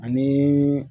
Ani